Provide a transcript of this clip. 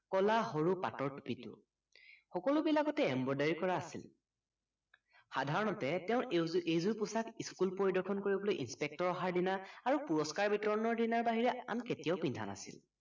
কলা সৰু পাতৰ টুপিটো সকলোবিলাকতে embroidery কৰা আছিল সাধাৰণতে তেওঁ এইযোৰ এইযোৰ পোছাক school পৰিদৰ্শন কৰিবলৈ inspector অহাৰ দিনা আৰু পুৰস্কাৰ বিতৰণৰ বাহিৰে আন কেতিয়াও পিন্ধা নাছিল